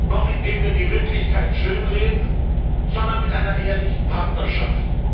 noch indem wir die Wirklichkeit schönreden, sondern mit einer ehrlichen Partnerschaft.